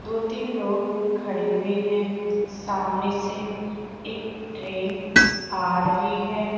दो तीन लोग खड़े हुए हैं सामने से एक ट्रेन आ रही है।